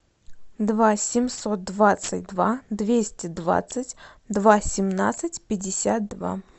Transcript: два семьсот двадцать два двести двадцать два семнадцать пятьдесят два